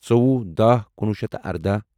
ژوٚوُہ داہ کُنوہ شیٚتھ تہٕ اردَاہ